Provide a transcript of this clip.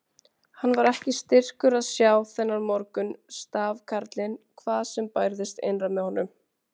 Hann var ekki styrkur að sjá þennan morgun stafkarlinn hvað sem bærðist innra með honum.